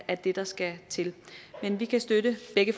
er det der skal til men vi kan støtte begge